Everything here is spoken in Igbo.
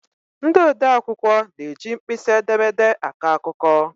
Ndị odee akwụkwọ na-eji mkpịsị edemede akọ akụkọ.